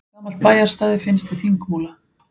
Gamalt bæjarstæði finnst við Þingmúla